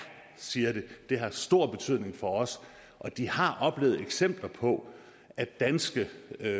siger de det har stor betydning for os og de har oplevet eksempler på at danske